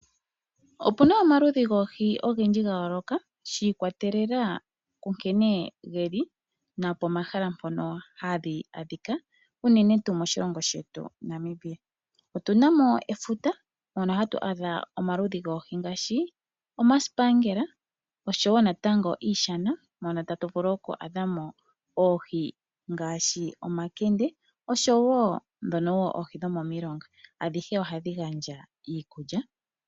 Opuna omaludhi goohi ogendji gayooloka shiikwatelela kunkene geli napomahala mpono hadhi adhika unene tuu moshilongo shetu Namibia, otuna mo efuta mono hatu adha omaludhi goohi ngaashi omasipaangela oshowo natango iishana mono tatu vulu oku adhamo oohi ngaashi omankende oshowo dhono woo oohi dhomomilonga adhihe ohadhi gandja iikulya.